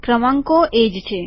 ક્રમાંકો એજ છે